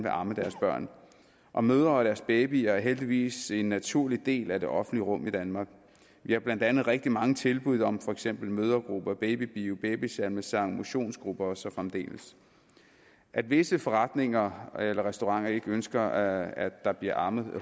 at amme deres børn og mødre og deres babyer er heldigvis en naturlig del af det offentlige rum i danmark vi har blandt andet rigtig mange tilbud om for eksempel mødregrupper babybio babysalmesang motionsgrupper og så fremdeles at visse forretninger eller restauranter ikke ønsker at der bliver ammet